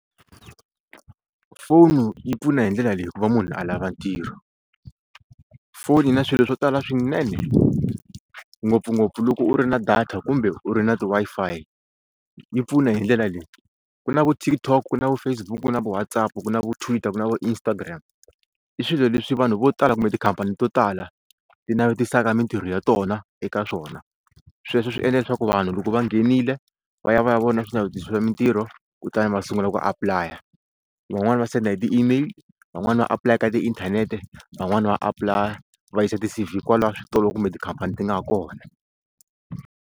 Foni yi pfuna hi ndlela leyi hikuva munhu a lava ntirho, foni yi na swilo swo tala swinene ngopfungopfu loko u ri na data kumbe u ri na Wi-Fi yi pfuna hi ndlela leyi ku na vo TikTok na vo Facebook na WhatsApp ku na vo tweeter ku na vo Instagram i swilo leswi vanhu vo tala kumbe tikhampani to tala ti navetisaka mintirho ya tona eka swona sweswo swi endla leswaku vanhu loko va nghenile va ya va ya vona swinavetiso swa mintirho kutani va sungula ku apply-a van'wani va senda hi ti email van'wani va apulaya ka tiinthanete van'wani va apply-a va yisa ti-C_V kwala switolo kumbe tikhampani ti nga ha kona.